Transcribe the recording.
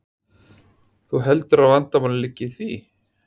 Þú heldur að vandamálið liggi í því?